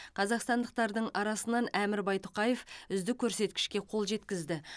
қазақстандықтардың арасынан әмір байтұқаев үздік көрсекішке қол жеткізді